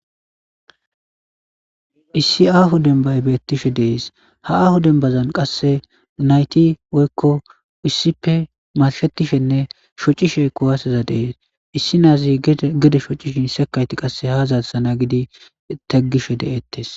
Issi aaho dembay bettishe de'es ha aaho dembazan naytti issippe marshetishenne shooccishe kuwaseza de'es issi naazi gedde shooccishin sekayitti qase ha zarisana giidii naagiddii taagisje de'etes.